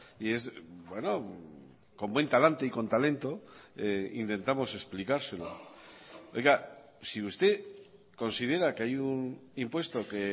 y con buen talante y con talento intentamos explicárselo oiga si usted considera que hay un impuesto que